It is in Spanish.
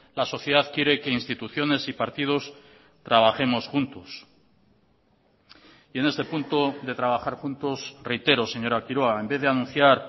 la sociedad quiere que instituciones y partidos trabajemos juntos y en este punto de trabajar juntos reitero señora quiroga en vez de anunciar